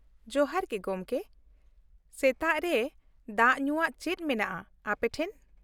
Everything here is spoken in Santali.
ᱡᱚᱦᱟᱨ ᱜᱮ ᱜᱚᱝᱠᱮ, ᱥᱮᱛᱟᱜ ᱨᱮ ᱫᱟᱜ ᱧᱩᱣᱟᱜ ᱪᱮᱫ ᱢᱮᱱᱟᱜᱼᱟ ᱟᱯᱮ ᱴᱷᱮᱱ ?